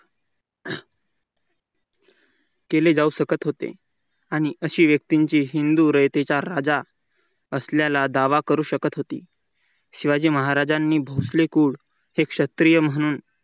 केली जाऊ शकत होती आणि असे व्यक्तींचे हिंदूचा रयतेचा राजा असल्याला दावा करू शकत होती. शिवाजी महाराजांनी भोसले कोड हे क्षत्रिय म्हणून